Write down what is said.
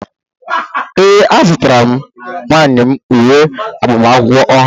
ee, azụtara m nwunye m uwe agbamakwụkwọ ọhụrụ